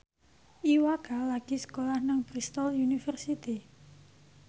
Iwa K lagi sekolah nang Bristol university